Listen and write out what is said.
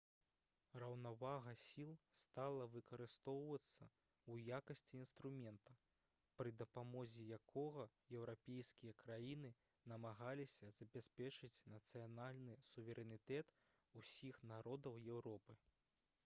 раўнавага сіл стала выкарыстоўвацца ў якасці інструмента пры дапамозе якога еўрапейскія краіны намагаліся забяспечыць нацыянальны суверэнітэт усіх народаў еўропы